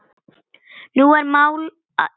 Nú er mál að linni.